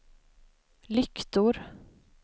lyktor